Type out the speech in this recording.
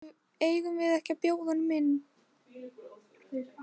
Eigum við ekki að bjóða honum inn?